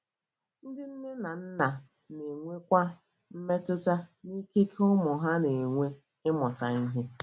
Ndị nne na nna na - enwekwa mmetụta n’ikike ụmụ ha na - enwe ịmụta ihe.